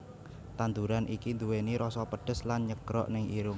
Tandhuran iki nduweni roso pedhes lan nyegrok neng irung